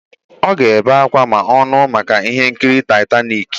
Ọ ga-ebe ákwá ma ọ nụụ maka Ihenkiri Taịtanik.